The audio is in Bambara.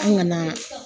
An ŋana